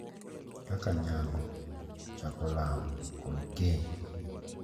Kaka nyango, chako lamo, kod keny, .